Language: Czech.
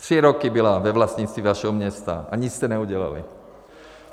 Tři roky byla ve vlastnictví vašeho města a nic jste neudělali.